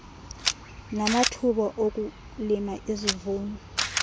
namathuba okulima izivuno